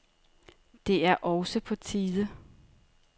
Det er også på tide.